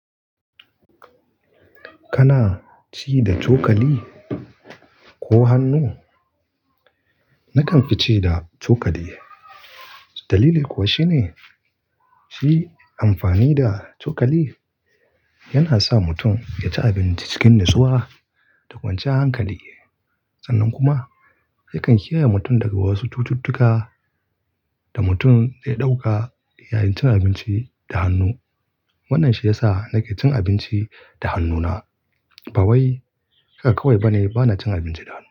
Kana ci da cokali ko hannu? Nakan fi ci da cokali. Dalili kuwa shine, ci amfani da cokali yana sa mutum ya ci abinci cikin natsuwa da kwanciyar hankali. Sannan kuma yakan kiyaye mutum daga wasu cututtuka da mutum zai dauka yayin cin abinci da hannu. Wannan shi ya sa nake cin abinci da hannuna. Ba wai haka kawai bane bana cin abinci da hannu.